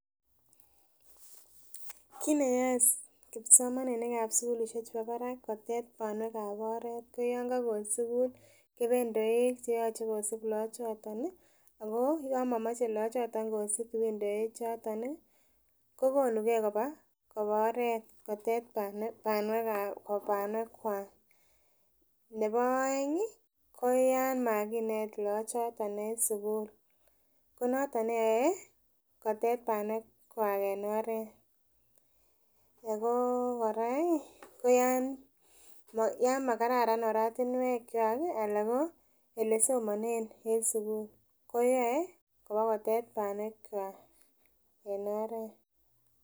Kitneyae kipsomaninik ap sukulishek chepo parak atko keit panwek ap oret koyan kakon sukul ipendoek cheachei kosup lakochoton Ako kamomoche kosup lakochoton mtindoechoto kokonugei kopa oret kotyech panwek kwak nepo oeng ko yon makinet lachoton en sukul konoto neyae kotyech panwek kwa en oret Ako kora ko ya makaratan oratinwek kwako ala ko ole somane en sukul koyae kopa kutyech panwek kwa en oret.